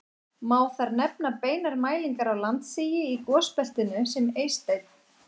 Má þar nefna beinar mælingar á landsigi í gosbeltinu sem Eysteinn